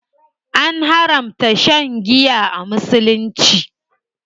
An haramta shan giya a musulunci.